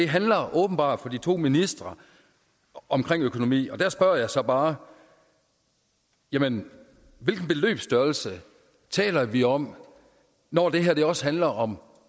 handler åbenbart for de to ministre om økonomi og der spørger jeg så bare jamen hvilken beløbsstørrelse taler vi om når det her også handler om